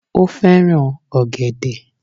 Ó fẹ́ràn ọ̀gẹ̀dẹ̀